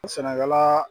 Sɛnɛkɛla